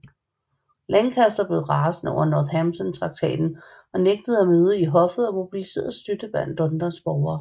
Lancaster blev rasende over Northampton Traktaten og nægtede at møde i hoffet og mobiliserede støtte blandt Londons borgere